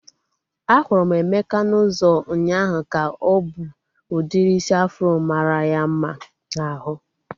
A hụrụ m Emeka n'ụzọ ụnyaahụ ka o bu udiri isi afro mara ya mma n'ahu